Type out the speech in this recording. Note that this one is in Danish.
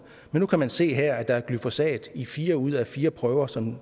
men nu kan man se her at der er glyfosat i fire ud af fire prøver som